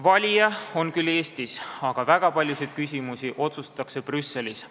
Valija on küll Eestis, aga väga paljusid küsimusi otsustatakse Brüsselis.